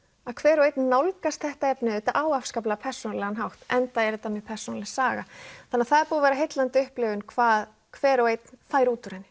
að hver og einn nálgast þetta efni á persónulegan hátt enda er þetta mjög persónuleg saga þannig að það er búið að vera heillandi upplifum hvað hver og einn fær út úr henni